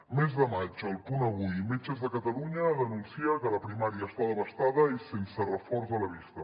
mes de maig el punt avui metges de catalunya denuncia que la primària està devastada i sense reforç a la vista